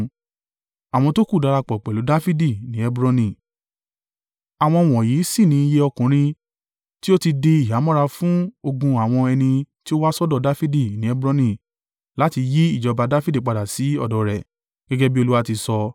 Àwọn wọ̀nyí sì ni iye ọkùnrin tí ó ti di ìhámọ́ra fún ogun àwọn ẹni tí ó wá sọ́dọ̀ Dafidi ní Hebroni láti yí ìjọba Dafidi padà sí ọ̀dọ̀ rẹ̀, gẹ́gẹ́ bí Olúwa ti sọ.